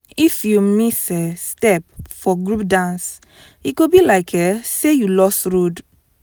if you miss um step for group dance e go be like um say you lost road.